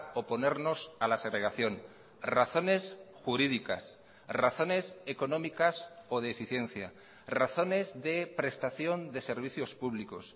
oponernos a la segregación razones jurídicas razones económicas o de eficiencia razones de prestación de servicios públicos